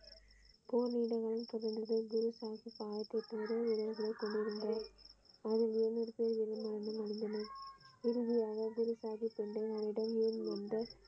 போர் வீரர்கள் குறைந்தது குருசாகிப் கொண்டிருந்தார இறுதியில் குரு சாகிப் எதிரியாகிலும் மீண்டு வந்து.